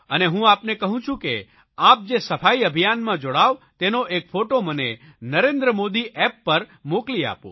અને હું આપને કહું છું કે આપ જે સફાઇ અભિયાનમાં જોડાવ તેનો એક ફોટો મને નરેન્દ્ર મોદી એપ પર શેર કરો મોકલી આપો